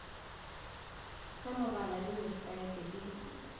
sa megala le websaete di